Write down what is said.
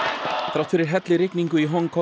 þrátt fyrir hellirigningu í Hong